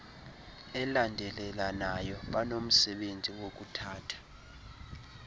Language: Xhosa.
elandelelanayo banomsebenzi wokuthatha